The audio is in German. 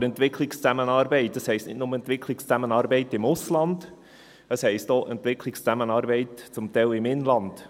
Aber Entwicklungszusammenarbeit heisst nicht nur im Ausland Entwicklungszusammenarbeit, sondern zum Teil auch im Inland.